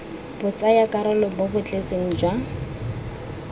botsayakarolo bo bo tletseng jwa